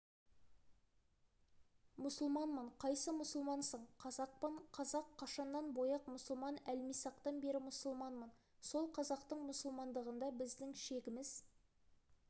мұсылманмын қайсы мұсылмансың қазақпын қазақ қашаннан бояқ мұсылман әлмисақтан бері мұсылманмын сол қазақтың мұсылмандығында біздің шегіміз